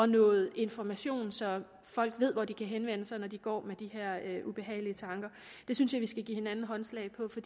noget information så folk ved hvor de kan henvende sig når de går med de her ubehagelige tanker det synes jeg vi skal give hinanden håndslag på for